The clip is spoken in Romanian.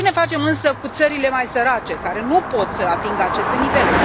Ce ne facem însă cu țările mai sărace, care nu pot să atingă aceste nivele?